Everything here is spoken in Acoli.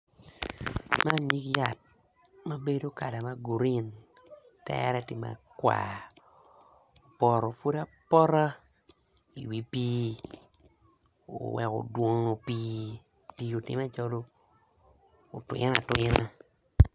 Man nyig yat ma bedo kala ma green tere tye makwar opoto pud apota i wi pii oweko odwono pii otimme calo otwine atwina.